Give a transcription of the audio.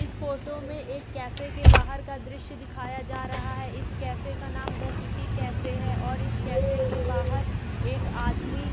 इस फोटो में एक कैफ़े के बाहर का दृश्य दिखाया जा रहा है इस कैफ़े का नाम द सिटी कैफ़े है और इस कैफ़े के बाहर एक आदमी --